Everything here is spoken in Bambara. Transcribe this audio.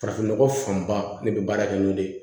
Farafinnɔgɔ fanba ne bɛ baara kɛ n'o le ye